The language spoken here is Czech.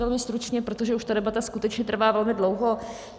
Velmi stručně, protože už ta debata skutečně trvá velmi dlouho.